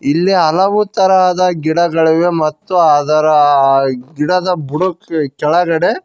ಇಲ್ಲಿ ಹಲವು ತರಹದ ಗಿಡಗಳಿವೆ ಮತ್ತು ಅದರ ಗಿಡದ ಬುಡಕ್ಕೆ ಕೆಳಗಡೆ--